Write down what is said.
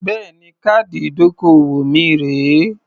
Bẹ́ẹ̀ni. Káàdì ìdókòwò mi rèé.